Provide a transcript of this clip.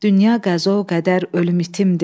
Dünya qəzo-qədər ölüm itimdir.